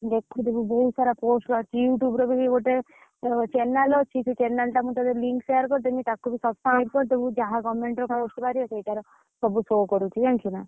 ଦେଖୁଥିବୁ ବହୁତ ସାରା post ବାହାରୁଛି YouTube ର ବି ଗୋଟେ, channel ଅଛି ସେ channel ଟା ମୁ ତତେ link share କରିଦେମି ଟାକୁ ବି subscribe କରିଦବୁ। ଯାହା government ର post ବାହାରିବ ସେଇଟାରେ, ସବୁ show କରୁଛି ଜାଣିଛୁ ନା।